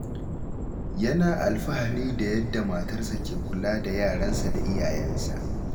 Yana alfahari da yadda matarsa ke kula da yaransa da iyayensa.